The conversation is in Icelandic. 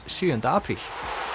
sjöunda apríl